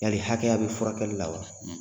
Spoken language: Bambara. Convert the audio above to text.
Yali hakɛya bɛ furakɛli la wa